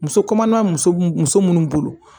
Muso kɔnɔma muso muso munnu bolo